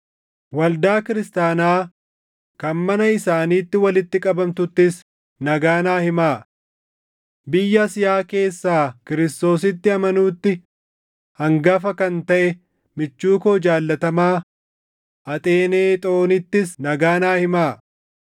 Waldaa Kiristaanaa kan mana isaaniitti walitti qabamtuttis nagaa naa himaa. Biyya Asiyaa keessaa Kiristoositti amanuutti hangafa kan taʼe michuu koo jaallatamaa Axeenexoonittis nagaa naa himaa.